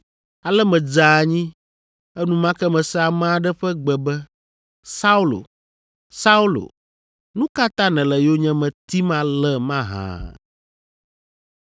Ale medze anyi. Enumake mese ame aɖe ƒe gbe be, ‘Saulo, Saulo, nu ka ta nèle yonyeme tim ale mahã?’